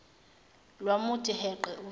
lwamuthi heqe uvalo